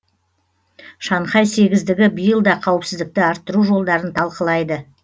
шанхай сегіздігі биыл да қауіпсіздікті арттыру жолдарын талқылайды